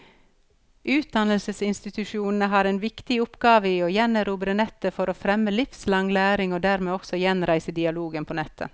Utdannelsesinstitusjonene har en viktig oppgave i å gjenerobre nettet for å fremme livslang læring, og dermed også gjenreise dialogen på nettet.